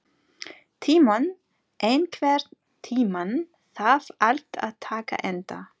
Tímon, einhvern tímann þarf allt að taka enda.